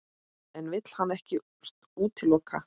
En vill hann ekkert útiloka?